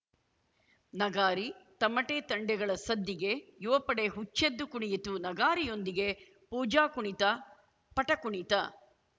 ನಗಾರಿ ತಮಟೆ ತಂಡೆಗಳ ಸದ್ದಿಗೆ ಯುವಪಡೆ ಹುಚ್ಚೆದ್ದು ಕುಣಿಯಿತು ನಗಾರಿಯೊಂದಿಗೆ ಪೂಜಾ ಕುಣಿತ ಪಟ ಕುಣಿತ